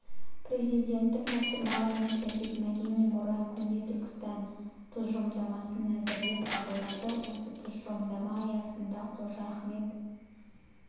президентінің тапсырмаларына сәйкес мәдени мұра көне түркістан тұжырымдамасын әзірлеп қабылдады осы тұжырымдама аясында қожа ахмет